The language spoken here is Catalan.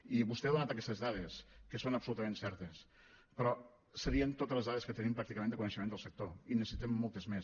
i vostè ha donat aquestes dades que són absolutament certes però serien totes les dades que tenim pràcticament de coneixement del sector i en necessitem moltes més